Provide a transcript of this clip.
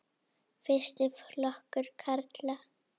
Fyrsti flokkur karla.